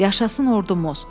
Yaşasın ordumuz!